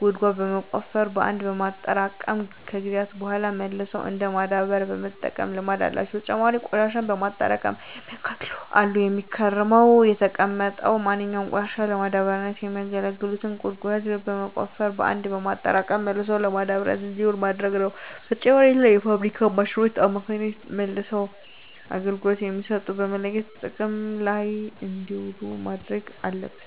ጉድጓድ በመቆፈር በአንድ በማጠራቀም ከጊዜያት በሗላ መልሰው እንደ ማዳበሪያነት የመጠቀም ልምድ አላቸው። በተጨማሪም ቆሽሻን በማጠራቀም የሚያቃጥሉ አሉ። የሚመከረውም የተጠቀሙትን ማንኛውንም ቆሻሻ ለማዳበሪያነት የሚያገለግሉትን ጉድጓድ በመቆፈር በአንድ በማጠራቀም መልሶ ለማዳበሪያነት እንዲውል ማድረግ ነው። በተጨማሪም በተለያዩ የፋብሪካ ማሽኖች አማካኝነት መልሰው አገልግሎት የሚሰጡትን በመለየት ጥቅም ላይ እንዲውሉ ማድረግ አለብን።